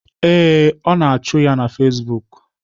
Ee, ọ na-achụ ya na Facebook